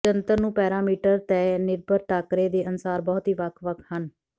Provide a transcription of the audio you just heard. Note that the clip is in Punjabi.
ਜੰਤਰ ਨੂੰ ਪੈਰਾਮੀਟਰ ਤੇਨਿਰਭਰ ਟਾਕਰੇ ਦੇ ਅਨੁਸਾਰ ਬਹੁਤ ਹੀ ਵੱਖ ਵੱਖ ਹਨ